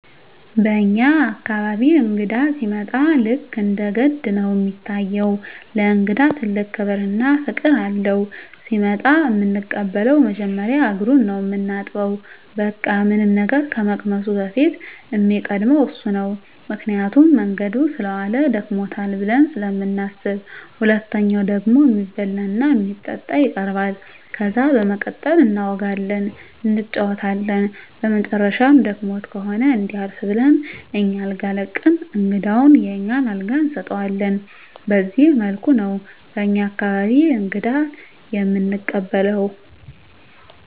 በኛ አካባቢ እንግዳ ሲመጣ ልክ እንደ ገድ ነው እሚታየው። ለእንግዳ ትልቅ ክብር እና ፍቅር አለው። ሲመጣ እምንቀበለው መጀመሪያ እግሩን ነው ምናጥበው በቃ ምንም ነገር ከመቅመሱ በፊት እሚቀድመው እሱ ነው ምክንያቱም መንገድ ሰለዋለ ደክሞታል ብለን ስለምናስብ። ሁለተኛው ደግሞ እሚበላ እና እሚጠጣ ይቀርባል። ከዛ በመቀጠል እናወጋለን እንጫወታለን በመጨረሻም ደክሞት ከሆነ እንዲያርፍ ብለን አኛ አልጋ ለቀን እንግዳውን የኛን አልጋ እንሰጠዋለን በዚህ መልኩ ነው በኛ አካባቢ እንግዳ እምንቀበለው።